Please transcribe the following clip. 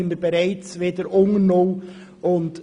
Dann werden wir wieder unter null sein.